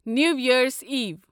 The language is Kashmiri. نیو ییرز ایٖو